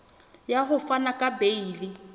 ya ho fana ka beile